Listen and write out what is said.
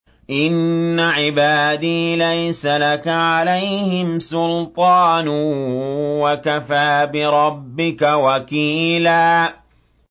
إِنَّ عِبَادِي لَيْسَ لَكَ عَلَيْهِمْ سُلْطَانٌ ۚ وَكَفَىٰ بِرَبِّكَ وَكِيلًا